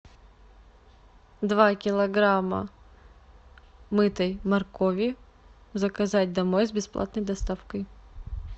два килограмма мытой моркови заказать домой с бесплатной доставкой